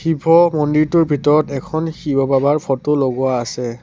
শিৱ মন্দিৰটোৰ ভিতৰত এখন শিৱ বাবাৰ ফটো লগোৱা আছে।